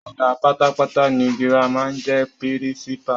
Ọ̀gá pátápátá ní Girama n jẹ pírísípà